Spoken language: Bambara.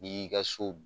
N'i y'i ka so